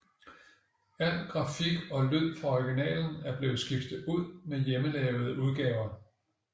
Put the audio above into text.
Al grafik og lyd fra originalen er blevet skiftet ud med hjemmelavede udgaver